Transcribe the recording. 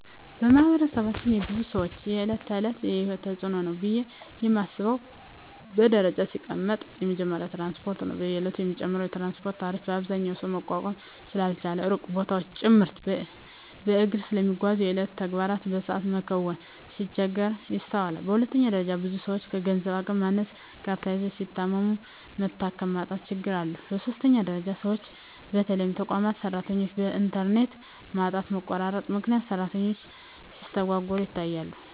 በማህበረሰባችን የብዙ ሰወች የእለት ተእለት የሂወት ተጽኖ ነው ብየ ማስበው በደረጃ ሲቀመጥ የመጀመሪያው ትራንስፓርት ነው። በየእለቱ የሚጨምረው የትራንስፓርት ታሪፍ አብዛኛው ሰው መቋቋም ስላልቻለ ሩቅ ቦታወችን ጭምርት በእግሩ ስለሚጓዝ የየእለት ተግባሩን በሰአት መከወን ሲቸገር ይስተዋላል። በሁለተኛ ደረጃ ብዙ ሰወች ከገንዘብ አቅም ማነስ ጋር ተያይዞ ሲታመሙ መታከሚያ የማጣት ችግሮች አሉ። በሶስተኛ ደረጃ ሰወች በተለይ የተቋማት ሰራተኞች በእንተርኔት ማጣትና መቆራረጥ ምክንያት ስራቸው ሲስተጓጎል ይታያል።